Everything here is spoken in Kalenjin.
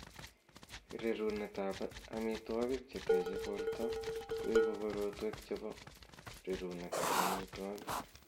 Rerunetab amitwogik chetechei borto koibu korotwek chebo rerunetab amitwogik